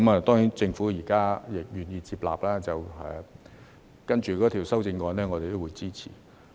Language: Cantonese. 當然，政府現在願意接納，稍後的修正案我們也會支持。